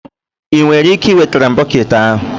Ị nwere ike iwetara m bọket ahụ?